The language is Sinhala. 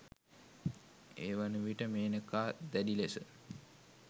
ඒවන විට මේනකා දැඩි ලෙස